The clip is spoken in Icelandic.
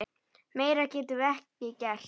Meira getum við ekki gert.